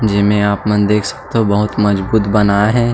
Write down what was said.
जेमे आपन देख सकथो बहुत मजबूत बनाए हे।